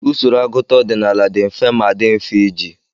Usoro agụta ọdịnala dị mfe ma dị mfe iji.